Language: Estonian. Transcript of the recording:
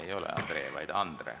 Ei ole André, vaid on Andre.